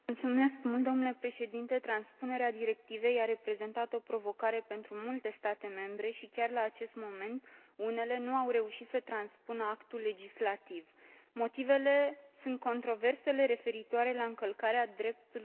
Transpunerea directivei a reprezentat o provocare pentru multe state membre, și chiar la acest moment unele nu au reușit să transpună actul legislativ. Motivele sunt controversele referitoare la încălcarea dreptului la viață privată.